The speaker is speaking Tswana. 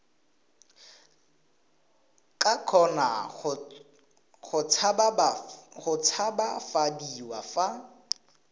ka kgona go tshabafadiwa fa